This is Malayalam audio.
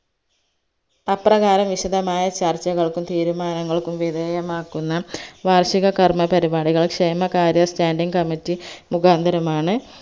അപ്രകാരം വിശദമായ ചർച്ചകൾക്കും തീരുമാനങ്ങൾക്കും വിദേയമാക്കുന്ന വാർഷിക കർമ്മപരിപാടികൾ ക്ഷേമകാര്യ standing committee മുകാന്തരമാണ്